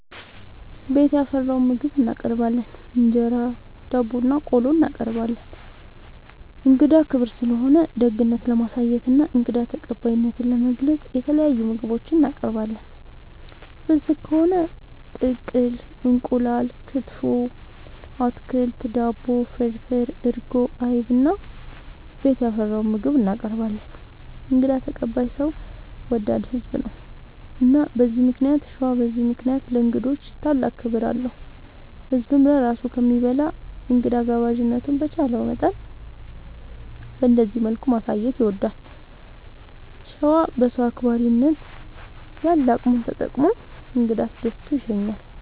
ቤት ያፈራውን ምግብ እናቀርባለን እንጀራ፣ ዳቦናቆሎ እናቀርባለን። እንግዳ ክብር ስለሆነ ደግነት ለማሳየትና እንግዳ ተቀባይነትን ለመግለፅ የተለያዩ ምግቦች እናቀርባለን። ፍስግ ከሆነ ቅቅል እንቁላል፣ ክትፎ፣ አትክልት፣ ዳቦ፣ ፍርፍር፣ እርጎ፣ አይብ እና ቤት ያፈራውን ምግብ እናቀርባለን እንግዳ ተቀባይ ሰው ወዳድ ህዝብ ነው። እና በዚህ ምክንያት ሸዋ በዚህ ምክንያት ለእንግዶች ታላቅ ክብር አለው። ህዝብም ለራሱ ከሚበላ እንግዳ ጋባዥነቱን በቻለው መጠን በእንደዚህ መልኩ ማሳየት ይወዳል። ሸዋ በሰው አክባሪነት ያለ አቅሙን ተጠቅሞ እንግዳ አስደስቶ ይሸኛል።